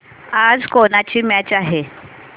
आज कोणाची मॅच आहे